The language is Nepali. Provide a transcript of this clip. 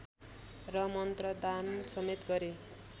र मन्त्रदान समेत गरे